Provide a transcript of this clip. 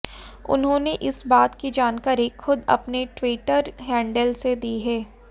उन्होंने इस बात की जानकारी खुद अपने ट्विटर हैंडल से दी है